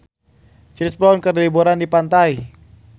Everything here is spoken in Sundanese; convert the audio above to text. Chris Brown keur liburan di pantai